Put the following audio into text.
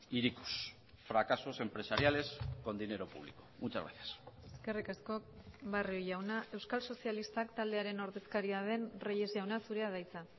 hirikos fracasos empresariales con dinero público muchas gracias eskerrik asko barrio jauna euskal sozialistak taldearen ordezkaria den reyes jauna zurea da hitza